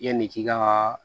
Yanni k'i ka